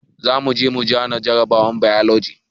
Zamuje mu zana jarabawar bailoji